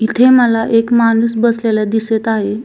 इथे मला एक माणूस बसलेला दिसत आहे.